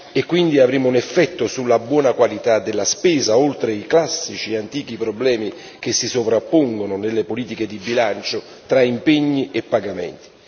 E quindi avremo un effetto sulla buona qualità della spesa, oltre i classici e antichi problemi che si sovrappongono nelle politiche di bilancio tra impegni e pagamenti.